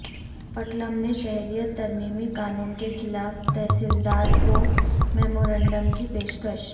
پٹلم میں شہریت ترمیمی قانون کے خلاف تحصیلدار کو میمورنڈم کی پیشکش